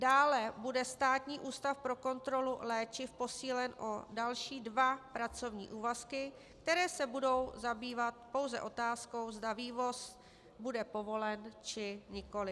Dále bude Státní ústav pro kontrolu léčiv posílen o další dva pracovní úvazky, které se budou zabývat pouze otázkou, zda vývoz bude povolen, či nikoliv.